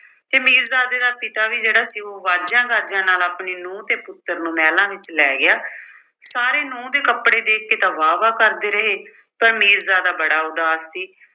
ਤੇ ਮੀਰਜ਼ਾਦੇ ਦਾ ਪਿਤਾ ਵੀ ਜਿਹੜਾ ਸੀ ਉਹ ਵਾਜਿਆਂ-ਗਾਜਿਆਂ ਨਾਲ ਆਪਣੀ ਨੂੰਹ ਤੇ ਪੁੱਤਰ ਨੂੰ ਮਹਿਲਾਂ ਵਿੱਚ ਲੈ ਗਿਆ। ਸਾਰੇ ਨੂੰਹ ਦੇ ਕੱਪੜੇ ਦੇਖ ਕੇ ਤਾਂ ਵਾਹ-ਵਾਹ ਕਰਦੇ ਰਹੇ ਪਰ ਮੀਰਜ਼ਾਦਾ ਬੜਾ ਉਦਾਸ ਸੀ।